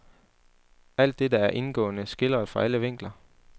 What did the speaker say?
Alt dette er indgående skildret fra alle vinkler.